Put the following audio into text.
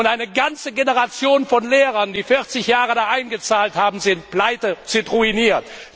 Eine ganze Generation von Lehrern, die 40 Jahre eingezahlt haben, ist pleite, ist ruiniert.